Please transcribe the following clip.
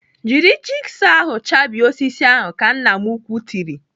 "Jiri jigsọ ahụ chabie osisi ahụ." Ka nna m ukwuu tiri.